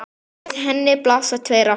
Við henni blasa tveir aftur